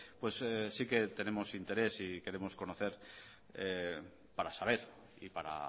pues sí que tenemos interés y queremos conocer para saber y para